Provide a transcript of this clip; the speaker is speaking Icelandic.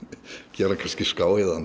geri hann kannski